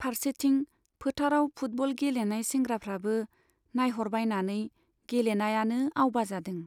फार्सेथिं फोथाराव फुटबल गेलेनाय सेंग्राफ्राबो नाइह'रबायनानै गेलेनायानो आवबा जादों।